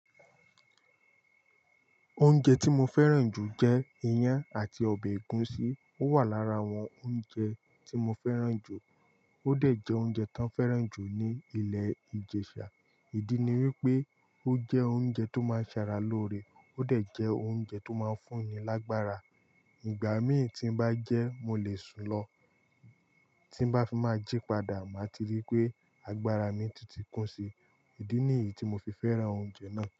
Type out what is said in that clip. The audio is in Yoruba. Oúnjẹ tí mo fẹ́ràn jù jẹ́ iyán àti ọbẹ̀ ẹ̀gúsí. Ó wà lára àwọn oúnjẹ tí mo fẹ́ràn jù. Ó dẹ̀ jẹ́ oúnjẹ tán fẹ́ràn jù ní ilẹ̀ ìjẹ̀ṣà. Ìdí ni wípé ó jẹ́ oúnjẹ tó máa ń ṣara loore, ó dẹ̀ jẹ́ oúnjẹ tó máa ń fún ni lágbára. Ìgbà mí ì tí ń bá jẹ́ mo lè sun lọ, tí bá fi máa jí padà, màá ti rí pé agbára mi tun ti kún si. Ìdí nìyí tí mo fi fẹ́ràn oúnjẹ náà.